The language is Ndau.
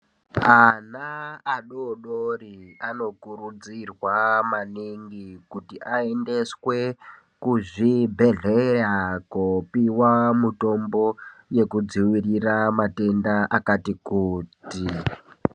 Ana adododori anokurudzirwa maningi kuti aendeswe, kuzvibhedhleya kopiwa mutombo yekudziirira matenda akati kuti.